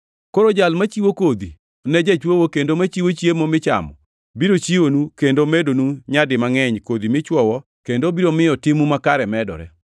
Koro Jal machiwo kodhi ne jachwoyo kendo machiwo chiemo michamo biro chiwonu kendo medonu nyadi mangʼeny kodhi michwoyo kendo obiro miyo timu makare medore.